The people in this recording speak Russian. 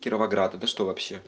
кировоград это что вообще